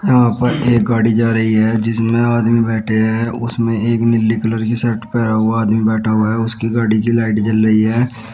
यहां पे एक गाड़ी जा रही है जिसमें आदमी बैठे हैं उसमें एक नीली कलर की शर्ट पहना हुआ आदमी बैठा हुआ उसकी गाड़ी की लाइट जल रही है।